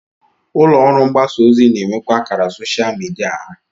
Ụlọọrụ mgbasa ozi na-enwekwa akara soshal midia ha